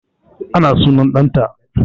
Ana sunan ɗan ta